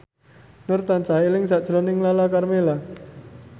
Nur tansah eling sakjroning Lala Karmela